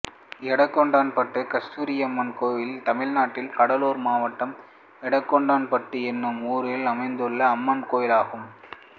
எடங்கொண்டான்பட்டு கஸ்தூரியம்மன் கோயில் தமிழ்நாட்டில் கடலூர் மாவட்டம் எடங்கொண்டான்பட்டு என்னும் ஊரில் அமைந்துள்ள அம்மன் கோயிலாகும்